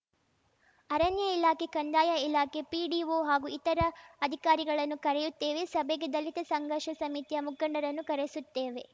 ಅರಣ್ಯ ಇಲಾಖೆ ಕಂದಾಯ ಇಲಾಖೆ ಪಿಡಿಒ ಹಾಗೂ ಇತರ ಅಧಿಕಾರಿಗಳನ್ನು ಕರೆಯುತ್ತೇವೆ ಸಭೆಗೆ ದಲಿತ ಸಂಘರ್ಷ ಸಮಿತಿಯ ಮುಖಂಡರನ್ನು ಕರೆಸುತ್ತೇವೆ